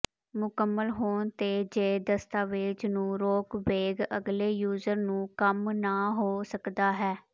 ਮੁਕੰਮਲ ਹੋਣ ਤੇ ਜ ਦਸਤਾਵੇਜ਼ ਨੂੰ ਰੋਕਬੈਕ ਅਗਲੇ ਯੂਜ਼ਰ ਨੂੰ ਕੰਮ ਨਾ ਹੋ ਸਕਦਾ ਹੈ